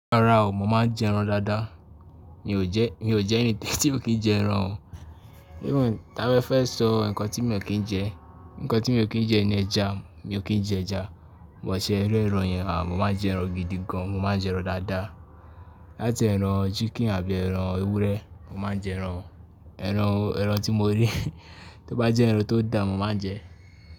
Rárá o, mo má n jẹ ẹran dáadáa. Mi ò jẹ́, mi ò jẹ́ ẹni tí ò kí n jẹ ẹran o. Even ta bá fẹ́ sọ nǹkan tí mi ò kí n jẹ, nǹkan tí mi ò kí n jẹ ni ẹja, mo kí n jẹ ẹja. But ṣẹ́ rẹ́ran yẹn à mo máa n jẹ ẹran gidi gan, mo máa n jẹ ẹran dáadáa. Láti ẹran chicken àbí ẹran ewúrẹ́ mo má n jẹ ẹran, ẹran tí mo rí tó bá jẹ́ ẹran tó da mo má n jẹ ẹ́.